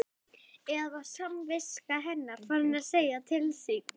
Eða var samviska hennar farin að segja til sín?